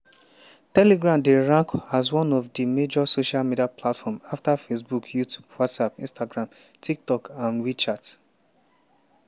telegram dey rank as one of di major social media platforms afta facebook youtube whatsapp instagram tiktok and and wechat.